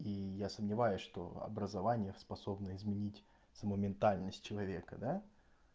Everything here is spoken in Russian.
и я сомневаюсь что образование способно изменить саму ментальность человека да